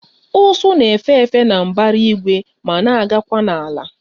Ụsụ na-efe efe na mbara igwe ma na-agakwa n'ala